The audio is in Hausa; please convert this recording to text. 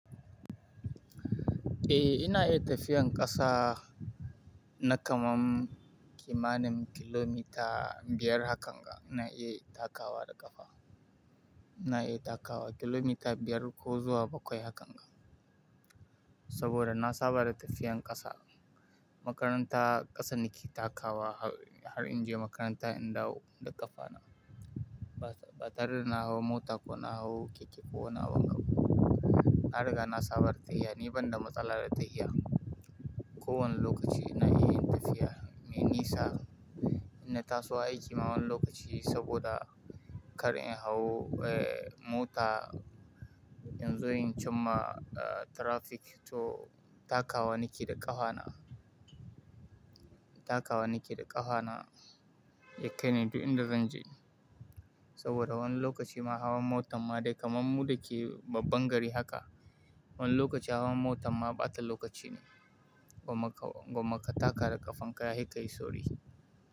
Eh ina iya tafiyan ƙasa na kamar kimanin kilomita biyar hakan ga ina iya takawa da ƙafa. Ina yi takawa kilomita biyar ko zuwa bakwai haka nga. Saboda na saba da tafiyan ƙasa. Makaranta ƙasan nake takawa har in je makaranta in dawo da ƙafa na. Ba tare na hau mota ko na hau keke ko ina wani bu. Na riga na saba da tahiya, ni banda matsala da tahiya. Ko wani lokaci ina yin tafiya, me nisa ina tasowa aiki ma wani lokaci saboda kar in hau, eh mota in zo yin jimma, eh traffic to takawa nake da ƙafa na. Takawa nake da ƙafa na yake ne duk inda zan je. Saboda wani lokaci ma hawan motan ma dai kamar mu da ke babban gari haka, wani lokaci hawan motan ma bata lokaci ne. Gwammaka, gwammaka taka da ƙafan ka yafi kayi sauri.